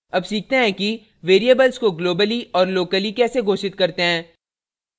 अब सीखते हैं कि variables को globally और locally कैसे घोषित करते हैं